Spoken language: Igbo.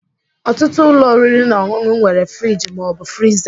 Ọtụtụ ụlọ oriri na ọṅụṅụ nwere friji ma ọ bụ friza